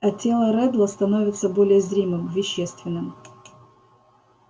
а тело реддла становится более зримым вещественным